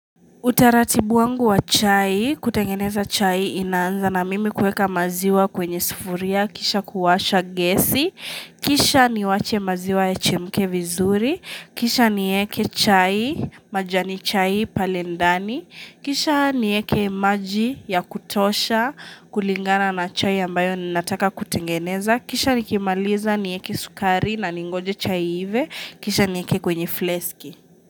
Utaratibu wangu wa chai, kutengeneza chai inaanza na mimi kueka maziwa kwenye sufuria, kisha kuwasha gesi, kisha niwache maziwa yachemke vizuri, kisha nieke chai, majani chai pale ndani, kisha nieke maji ya kutosha kulingana na chai ambayo ninataka kutengeneza, kisha nikimaliza nieke sukari na ningoje chai iive, kisha nieke kwenye fleski.